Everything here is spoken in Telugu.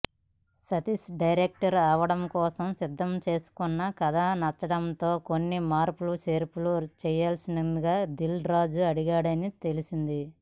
సతీష్ డైరెక్టర్ అవడం కోసం సిద్ధం చేసుకున్న కథ నచ్చడంతో కొన్ని మార్పుచేర్పులు చేయాల్సిందిగా దిల్ రాజు అడిగాడని తెలిసింది